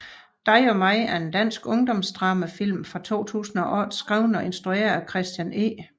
Dig og mig er en dansk ungdomsdramafilm fra 2008 skrevet og instrueret af Christian E